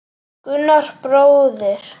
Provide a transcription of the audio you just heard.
Gunnar bróðir.